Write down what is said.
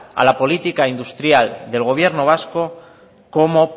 a la política industrial del gobierno vasco como